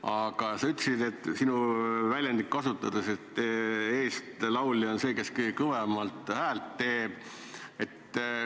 Aga sa ütlesid, et eeslaulja on see, kes kõige kõvemat häält teeb.